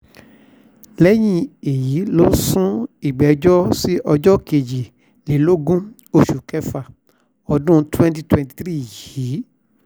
lẹ́yìn èyí ló sún ìgbẹ́jọ́ sí ọjọ́ kejìlélógún oṣù kẹfà ọdún twenty twenty three yìí